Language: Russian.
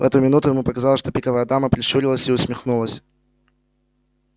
в эту минуту ему показалось что пиковая дама прищурилась и усмехнулась